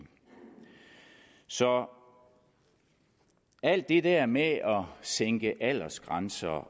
så alt det der med at sænke aldersgrænser